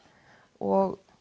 og